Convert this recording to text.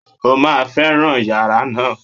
O máa fẹ́ràn yàrá náà